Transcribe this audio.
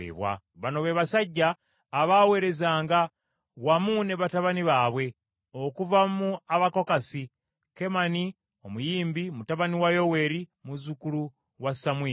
Bano be basajja abaaweerezanga, wamu ne batabani baabwe: Okuva mu Abakokasi; Kemani, omuyimbi, mutabani wa Yoweeri, muzzukulu wa Samwiri,